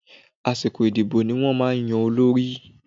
Àsìkò ìdìbò ní wọ́n máa ń ya olórí.